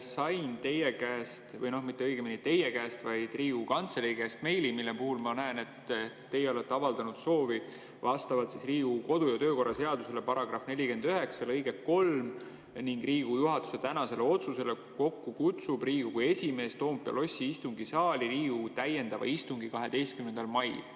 Sain teie käest või õigemini mitte teie käest, vaid Riigikogu Kantselei käest meili, millest ma näen, et teie olete avaldanud sellist soovi: vastavalt Riigikogu kodu‑ ja töökorra seaduse § 49 lõikele 3 ning Riigikogu juhatuse tänasele otsusele kutsub Riigikogu esimees Toompea lossi istungisaali kokku Riigikogu täiendava istungi 12. mail.